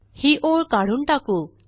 ही ओळ काढून टाकू